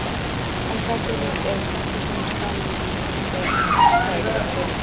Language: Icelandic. En hvað gerist ef við samþykkjum samninginn í komandi atkvæðagreiðslu?